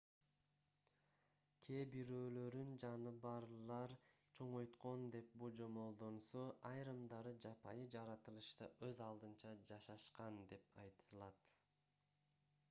кээ бирөөлөрүн жаныбарлар чоңойткон деп божомолдонсо айрымдары жапайы жаратылышта өз алдынча жашашкан деп айтылат